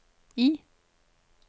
I